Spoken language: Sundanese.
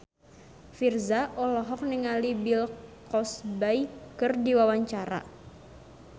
Virzha olohok ningali Bill Cosby keur diwawancara